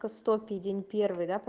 сто пиень первый да